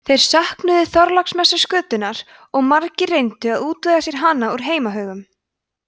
þeir söknuðu þorláksmessuskötunnar og margir reyndu að útvega sér hana úr heimahögum